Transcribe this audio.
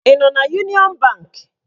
Ị nọ n'Uniọn bank?